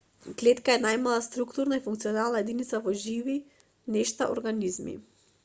клетка е најмалата структурна и функционална единица во живи нешта организми